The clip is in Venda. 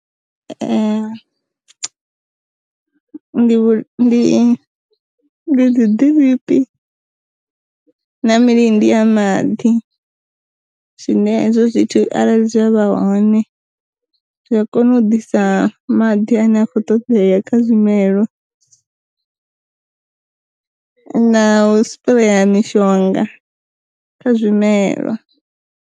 Ndi vhu ndi ndi dzi ḓiripi na milindi ya maḓi, zwine hezwo zwithu arali zwi avha hone zwi a kona u ḓisa maḓi ane a kho ṱoḓea kha zwimelwa, na u spreya mishonga kha zwimelwa.